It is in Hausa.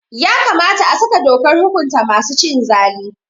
Ya kamata a saka dokar hukunta masu cin zalu.